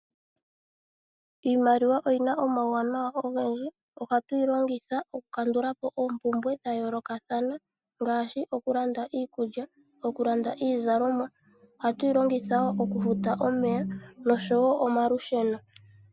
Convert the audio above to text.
Iimaliwa oyina omawunawa ogendji. ohatu yi longitha oku kandulapo oompumbwe dha yoolokathana ngaashi Okulanda iikulya, okulanda iizalomwa. Ohatu yi longitha woo okufuta omeya noshowo omalusheno .